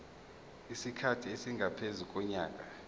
isikhathi esingaphezu konyaka